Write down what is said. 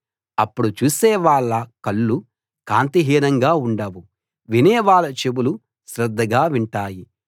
అప్పుడు చూసే వాళ్ళ కళ్ళు కాంతిహీనంగా ఉండవు వినేవాళ్ళ చెవులు శ్రద్ధగా వింటాయి